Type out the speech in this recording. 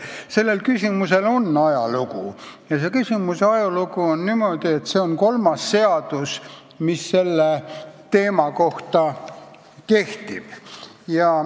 Selle ajalugu on niisugune, et see on kolmas seadus, mis seda teemat puudutab.